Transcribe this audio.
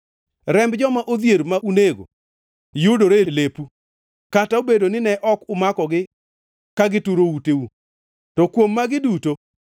Remb joma odhier ma unego yudore e lepu, kata obedo nine ok umakogi ka gituro uteu.” To kuom magi duto,